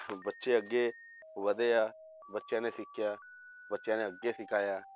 ਬੱਚੇ ਅੱਗੇ ਵਧੇ ਆ ਬੱਚਿਆਂ ਨੇ ਸਿੱਖਿਆ, ਬੱਚਿਆਂ ਨੇ ਅੱਗੇ ਸਿਖਾਇਆ